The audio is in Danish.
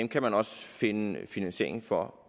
kan man også finde finansiering for